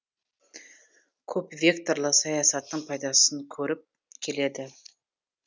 көпвекторлы саясаттың пайдасын көріп келеді